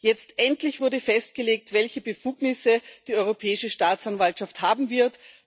Jetzt endlich wurde festgelegt, welche Befugnisse die Europäische Staatsanwaltschaft haben wird.